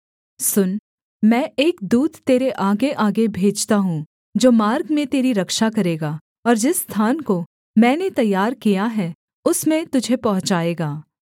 सुन मैं एक दूत तेरे आगेआगे भेजता हूँ जो मार्ग में तेरी रक्षा करेगा और जिस स्थान को मैंने तैयार किया है उसमें तुझे पहुँचाएगा